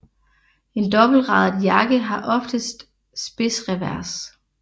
En dobbeltradet jakke har oftest spidsrevers